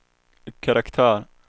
karaktär